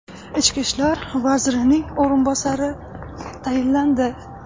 Ichki ishlar vazirining o‘rinbosari tayinlandi.